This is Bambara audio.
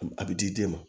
A bɛ di di den ma